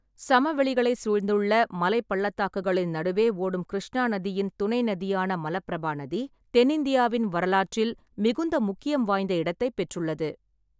சமவெளிகளைச் சூழ்ந்துள்ள மலைப் பள்ளத்தாக்குகளின் நடுவே ஓடும் கிருஷ்ணா நதியின் துணை நதியான மலபிரபா நதி, தென்னிந்தியாவின் வரலாற்றில் மிகுந்த முக்கியம் வாய்ந்த இடத்தைப் பெற்றுள்ளது.